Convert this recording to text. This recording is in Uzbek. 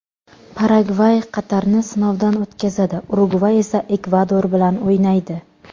Paragvay Qatarni sinovdan o‘tkazadi, Urugvay esa Ekvador bilan o‘ynaydi.